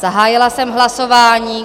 Zahájila jsem hlasování.